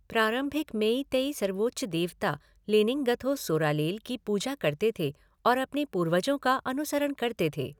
प्रारंभिक मेइतेइ सर्वोच्च देवता, लेनिंगथौ सोरालेल, की पूजा करते थे और अपने पूर्वजों का अनुसरण करते थे।